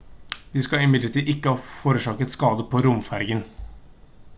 de skal imidlertid ikke ha forårsaket skade på romfergen